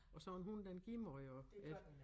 Og så en hund den giver meget også ik